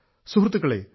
സുഹൃത്തുക്കളെ